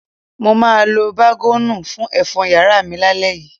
Mo máa lo bágọ́ọ̀nù fún ẹ̀fọ́n yàrá mi lálẹ́ yìí.